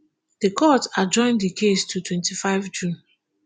di court adjourn di case to twenty-five june